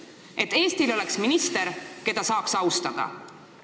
Et Eestil oleks minister, keda saaks austada.